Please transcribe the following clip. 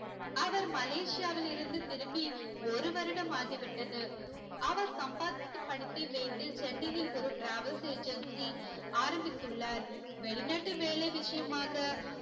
அவர் மலேசியாவில் இருந்து திரும்பி ஒரு வருடம் ஆகிவிட்டது அவர் சம்பாதித்த பணத்தை வைத்து சென்னையில் ஒரு travel agency ஆரம்பித்துள்ளார் வெளிநாட்டு வேலை விசியமாக